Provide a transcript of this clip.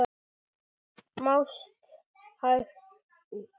Mást hægt út.